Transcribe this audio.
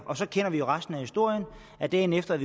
og så kender vi jo resten af historien dagen efter er